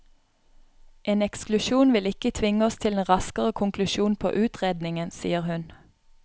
En eksklusjon vil ikke tvinge oss til en raskere konklusjon på utredningen, sier hun.